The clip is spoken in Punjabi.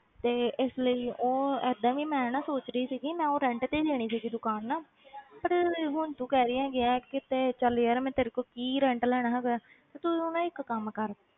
ਤੇ ਇਸ ਲਈ ਉਹ ਏਦਾਂ ਵੀ ਮੈਂ ਨਾ ਸੋਚ ਰਹੀ ਸੀਗੀ ਮੈਂ ਨਾ ਉਹ rent ਤੇ ਦੇਣੀ ਸੀਗੀ ਦੁਕਾਨ ਨਾ ਪਰ ਹੁਣ ਤੂੰ ਕਹਿ ਰਹੀ ਹੈਗੀ ਆਂ ਕਿ ਕਿਤੇ ਚੱਲ ਯਾਰ ਮੈਂ ਤੇਰੇ ਕੋਲੋਂ ਕੀ rent ਲੈਣਾ ਹੈਗਾ ਹੈ ਤੇ ਤੂੰ ਨਾ ਇੱਕ ਕੰਮ ਕਰ।